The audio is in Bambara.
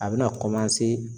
A bɛna